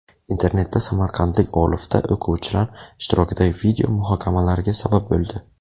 Internetda samarqandlik olifta o‘quvchilar ishtirokidagi video muhokamalarga sabab bo‘ldi .